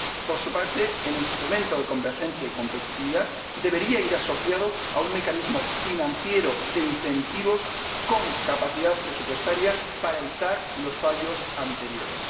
Por su parte, el instrumento de convergencia y competitividad debería ir asociado a un mecanismo financiero de incentivos con capacidad presupuestaria para evitar los fallos anteriores.